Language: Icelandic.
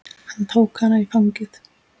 Hann tók hana í fangið.